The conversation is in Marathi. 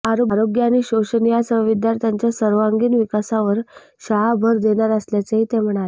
आरोग्य आणि षोषण यासह विद्यार्थ्यांच्या सर्वांगीण विकासावर शाळा भर देणार असल्याचेही ते म्हणाले